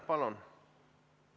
Palun!